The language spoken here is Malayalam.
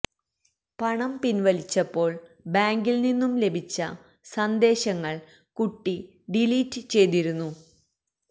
പണം പിൻവലിച്ചപ്പോൾ ബാങ്കിൽ നിന്നും ലഭിച്ച സന്ദേശങ്ങൾ കുട്ടി ഡിലീറ്റ് ചെയ്തിരുന്നു